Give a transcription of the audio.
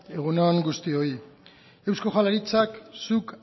egun on guztioi eusko jaurlaritzak zuk